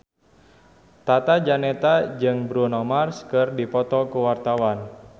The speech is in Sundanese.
Tata Janeta jeung Bruno Mars keur dipoto ku wartawan